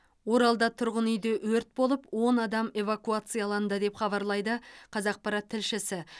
оралда тұрғын үйде өрт болып он адам эвакуацияланды деп хабарлайды қазақпарат тілшісі